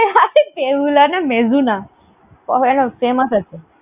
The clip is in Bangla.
দেহুলা না, Mezzuna । famous আছে।